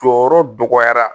Jɔyɔrɔ dɔgɔyara